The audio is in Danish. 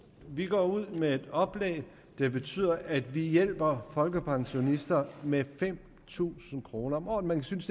vi går ud med et oplæg der betyder at vi hjælper folkepensionister med fem tusind kroner om året men vi synes